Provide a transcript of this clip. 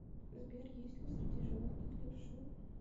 сбер есть ли среди животных левши